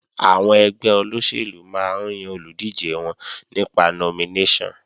Àwọn ẹgbẹ́ olóṣèlú máa ń yan olùdíje wọn nípa nominéṣọ̀n